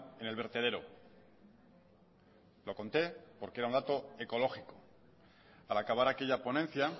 en el vertedero lo conté porque era un dato ecológico al acabar aquella ponencia